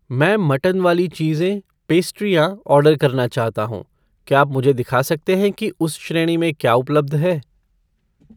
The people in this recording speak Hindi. मैं मट्टन वाली चीजे ,पेस्ट्रियाँ ऑर्डर करना चाहता हूँ , क्या आप मुझे दिखा सकते हैं कि उस श्रेणी में क्या उपलब्ध है?